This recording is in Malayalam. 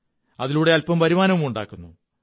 അതിലൂടെ അല്പംങ വരുമാനവുമുണ്ടാക്കുന്നു